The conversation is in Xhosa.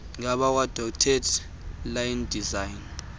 ngabakwadotted line design